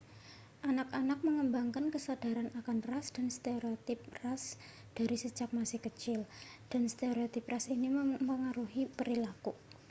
anak-anak mengembangkan kesadaran akan ras dan stereotip ras dari sejak masih kecil dan stereotip ras ini memengaruhi perilaku